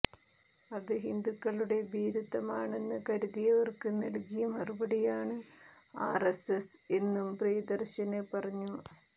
അത് ഹിന്ദുക്കളുടെ ഭീരുത്വമാണെന്ന് കരുതിയവര്ക്ക് നല്കിയ മറുപടിയാണ് ആര്എസ്എസ് എന്നും പ്രിയദര്ശന് പറഞ്ഞു